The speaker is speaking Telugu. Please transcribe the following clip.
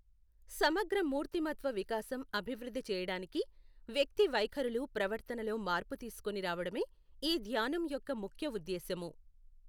సమగ్ర మూర్తిమత్వ వికాసం అభివృద్ధి చేయడానికి, వ్యక్తి వైఖరులు ప్రవర్తనలో మార్పు తీసుకొని రావడమే ఈ ధ్యానం యొక్క ముఖ్య ఉద్దేశ్యము.